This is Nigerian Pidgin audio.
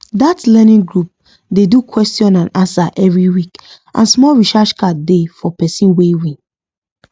that learning group dey do question and answer every week and small recharge card dey for person wey win